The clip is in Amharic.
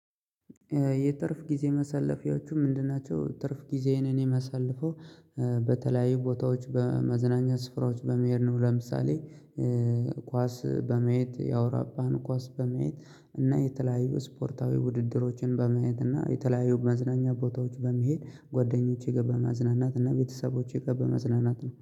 የትርፍ ጊዜ መሳለፊያዎቹ ምንድን? ናቸው ትርፍ ጊዜዬን እኔ የማሳልፈው በተለያዩ ቦታዎች በመዝናኛ ስፍራዎች በመሄድ ነው። ለምሳሌ ኳስ በማየት ያወራባን ኳስ በማየት እና የተለያዩ ስፖርታዊ ውድድሮችን በማየት እና የተለያዩ መዝናኛ ቦታዎች በመሄድ ጓደኞቼ ጋር በመዝናናትና ቤተሰቦቼ ጋር በመዝናናት ነው